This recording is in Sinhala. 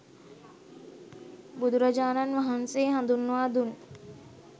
බුදුරජාණන් වහන්සේ හඳුන්වා දුන්